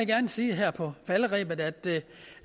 gerne sige her på falderebet at det